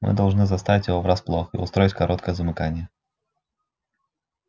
мы должны застать его врасплох и устроить короткое замыкание